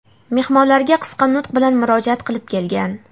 mehmonlarga qisqa nutq bilan murojaat qilib kelgan.